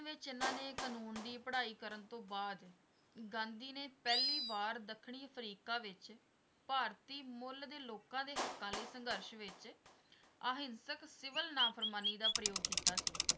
ਵਿੱਚ ਇਹਨਾਂ ਨੇ ਕਾਨੂੰਨ ਦੀ ਪੜ੍ਹਾਈ ਕਰਨ ਤੋਂ ਬਾਅਦ, ਗਾਂਧੀ ਨੇ ਪਹਿਲੀ ਵਾਰ ਦੱਖਣੀ ਅਫਰੀਕਾ ਵਿੱਚ ਭਾਰਤੀ ਮੁੱਲ ਦੇ ਲੋਕਾਂ ਦੇ ਹੱਕਾਂ ਲਈ ਸੰਗਰਸ਼ ਵਿੱਚ ਅਹਿੰਸਕ ਸਿਵਲ ਨਾਪ੍ਰਮਾਣੀ ਦਾ ਪ੍ਰਯੋਗ ਕੀਤਾ ਸੀ।